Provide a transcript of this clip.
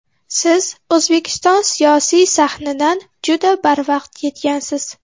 Siz O‘zbekiston siyosiy sahnidan juda barvaqt ketgansiz.